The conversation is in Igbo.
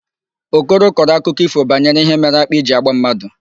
Okoro kọrọ akụkọ ífò banyere ihe mere akpị ji agba mmadụ.